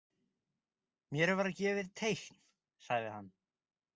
Mér var gefið teikn sagði hann.